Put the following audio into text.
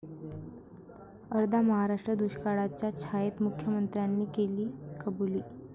अर्धा महाराष्ट्र दुष्काळाच्या छायेत, मुख्यमंत्र्यांनी दिली कबुली